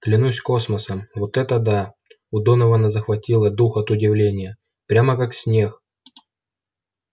клянусь космосом вот это да у донована захватило дух от удивления прямо как снег